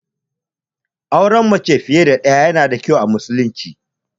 Auren mace fiye da ɗaya yana da kyau a musulunci.